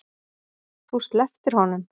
Þú slepptir honum.